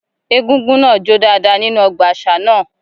Egúngún náà jó dáadáa nínú ọgbà àṣà náà.